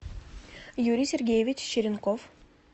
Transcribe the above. юрий сергеевич черенков